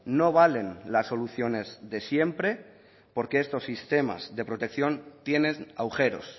no valen las soluciones de siempre porque estos sistemas de protección tienen agujeros